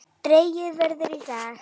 Dregið verður í dag.